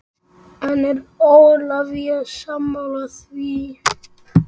En er Ólafía sammála því?